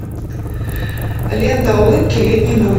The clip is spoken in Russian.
лента улыбки летней